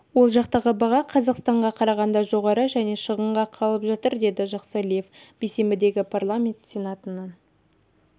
ол жақтағы баға қазақстанға қарағанда жоғары және шығынға қалып жатыр деді жақсалиев бейсенбідегі парламент сенатының